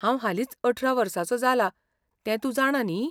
हांव हालींच अठरा वर्साचो जाला ते तूंं जाणा न्ही?